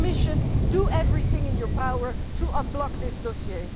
So, Commissioner, do everything in your power to unblock this dossier.